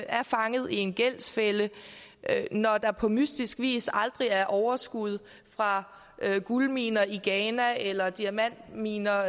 er fanget i en gældsfælde når der på mystisk vis aldrig er overskud fra guldminer i ghana eller diamantminer